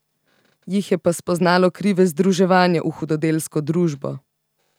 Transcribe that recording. Jih je pa spoznalo krive združevanja v hudodelsko družbo.